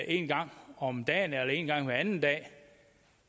en gang om dagen eller en gang hver anden dag